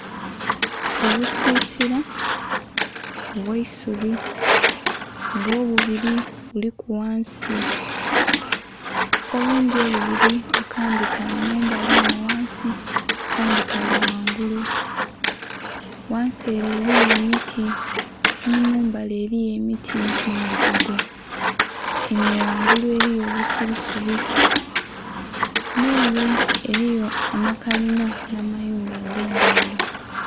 Obusisia obweisubi nga obubili buliku ghansi, obundhi obubiri akandhi kali enho ghansi akandhi kali ghangunlu. ghansi ele eliyo emiti, nimumbali eliyo emiti nhebigogo, Enho ghangulu eliyo obusubisubi, nh'ele eliyo amakalinha nha mayumba agendhaghulo.